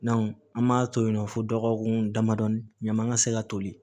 an m'a to yen nɔ fo dɔgɔkun damadɔni ɲama ka se ka toli